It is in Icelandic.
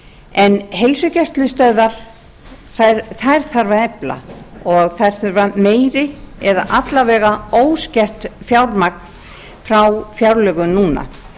en heilsugæslustöðvar þarf að efla og þær þurfa meiri eða alla vega óskert fjármagn frá fjárlögum núna